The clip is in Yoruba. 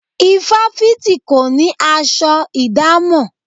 Ifáfìti kò ní aṣọ ìdámọ̀.